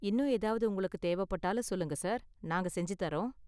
இன்னும் ஏதாவது உங்களுக்கு தேவைப்பட்டாலும் சொல்லுங்க, சார். நாங்க செஞ்சு தர்றோம்.